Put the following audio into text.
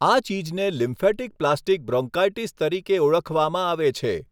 આ ચીજને lymphatic plastic bronchitis તરીકે ઓળખવામાં આવે છે.